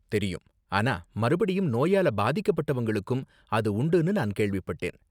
தெரியும், ஆனா மறுபடியும் நோயால பாதிக்கப்பட்டவங்களுக்கும் அது உண்டுனு நான் கேள்விப்பட்டேன்.